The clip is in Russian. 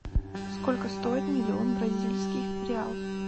сколько стоит миллион бразильских реал